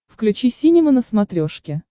включи синема на смотрешке